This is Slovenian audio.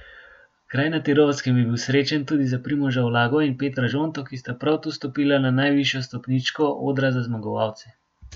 Kraj na Tirolskem je bil srečen tudi za Primoža Ulago in Petra Žonto, ki sta prav tu stopila na najvišjo stopničko odra za zmagovalce.